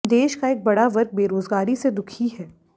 देश का एक बड़ा वर्ग बेरोजगारी से दुखी है